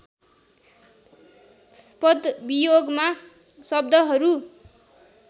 पदवियोगमा शब्दहरू